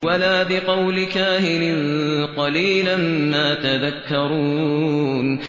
وَلَا بِقَوْلِ كَاهِنٍ ۚ قَلِيلًا مَّا تَذَكَّرُونَ